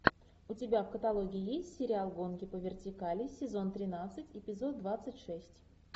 у тебя в каталоге есть сериал гонки по вертикали сезон тринадцать эпизод двадцать шесть